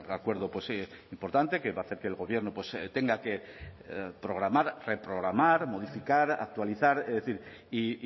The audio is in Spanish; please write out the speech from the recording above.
acuerdo importante que va a hacer que el gobierno tenga que programar reprogramar modificar actualizar es decir y